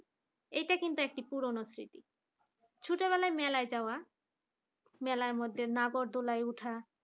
এটা কিন্তু একটা পুরনো স্মৃতি ছোটবেলায় মেলায় যাওয়া মেলার মধ্যে নাগরদোলায় ওঠা